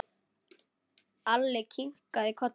Alli kinkaði kolli.